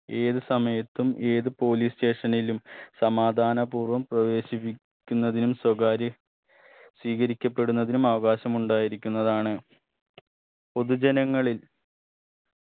ഏത് സമയത്തും ഏത് police station ലും സമാധാനപൂർവ്വം പ്രവേശിപ്പി ക്കുന്നതിനും സ്വകാര്യ സ്വീകരിക്കപ്പെടുന്നതിനും അവകാശമുണ്ടായിരിക്കുന്നതാണ് പൊതുജനങ്ങളിൽ